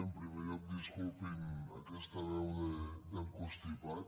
en primer lloc disculpin aquesta veu de constipat